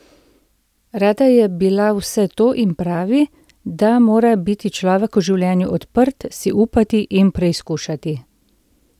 Rada je bila vse to in pravi, da mora biti človek v življenju odprt, si upati in preizkušati.